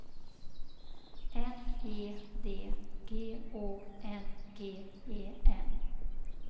N E D G Å N G E N